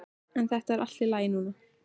En þetta er allt í lagi núna.